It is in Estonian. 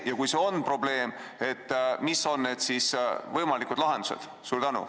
Ja kui see on probleem, mis on võimalikud lahendused?